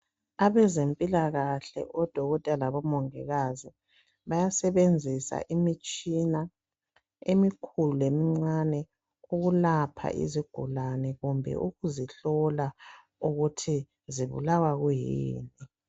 Abezempilakahle odokotela labamongikazi bayasebenzisa imitshina emikhulu lemincani ukulapha izigulani kumbe ukuzihlola ukuthi zibulawa kuyini.